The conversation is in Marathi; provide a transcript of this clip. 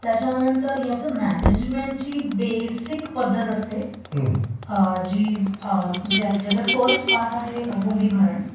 त्याच्यानंतर ह्याच्या मॅनेजमेन्टची बेसिक पद्धत असते, ज्याच्यात पहिला भाग आहे भूमिभरण